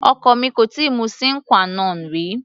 Ọkọ mi kò tíì mu sine qua non rí.